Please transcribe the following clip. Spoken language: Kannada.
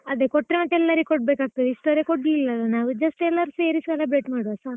ಅದೇ ಕೊಟ್ರೆ ಮತ್ತೆ ಎಲ್ಲರಿಗೂ ಕೊಡ್ಬೇಕಾಗ್ತದೆ, ಇಷ್ಟರವರೆಗೆ ಕೊಡ್ಲಿಲ್ಲ ಅಲ್ಲ ನಾವು just ಎಲ್ಲರ್ ಸೇರಿ celebrate ಮಾಡುವ ಸಾಕು.